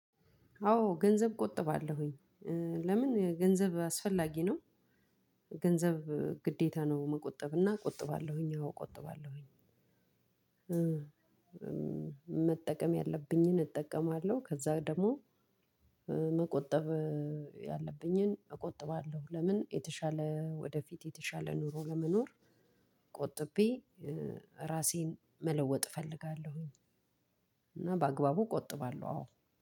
አዎ ገንዘብ ቆጥባለሁኝ። ለምን ገንዘብ አስፈላጊ ነው። ገንዘብ ግዴታ ነው መቆጠብ እና ቆጥባለሁኝ አዎ ቆጥባለሁኝ። መጠቀም ያለብኝን እጠቀማለሁ ከዛ ደሞ መቆጠብ ያለብኝን እቆጥባለሁ። ለምን የተሻለ ወደፊት የተሻለ ኑሮ ለመኖር። ቆጥቤ ራሴን መለወጥ እፈልጋለሁኝ። እና በአግባቡ እቆጥባለሁ አዎ።